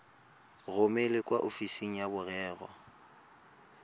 romele kwa ofising ya merero